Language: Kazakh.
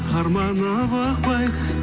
қарманып ықпай